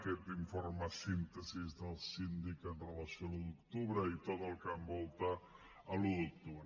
aquest informe síntesi del síndic amb relació a l’un d’octubre i tot el que envolta l’un d’octubre